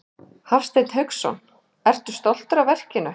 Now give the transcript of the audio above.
Hafsteinn Hauksson: Ertu stoltur af verkinu?